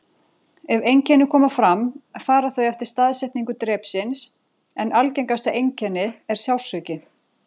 Ef einkenni koma fram fara þau eftir staðsetningu drepsins, en algengasta einkenni er sársauki.